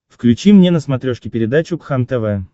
включи мне на смотрешке передачу кхлм тв